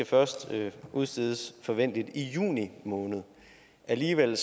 først skal udstedes forventeligt i juni måned alligevel